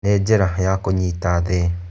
Nĩ njĩra ya kũnyita thĩ.